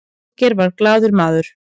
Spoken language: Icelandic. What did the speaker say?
olgeir var glaður maður